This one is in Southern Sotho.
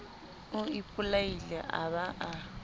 o ipolaile a ba a